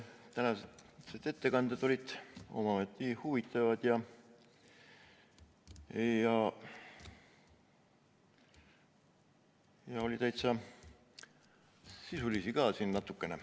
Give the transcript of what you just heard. Tänased ettekanded olid omaette huvitavad ja oli täitsa sisulisi ka siin natukene.